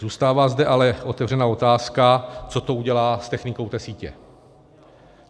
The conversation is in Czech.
Zůstává zde ale otevřená otázka, co to udělá s technikou té sítě.